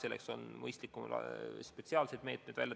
Selleks on mõistlikum kehtestada spetsiaalsed meetmed.